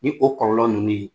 Ni o kɔlɔlɔ ninnu ye